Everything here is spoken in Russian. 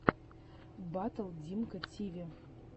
батл димммка тиви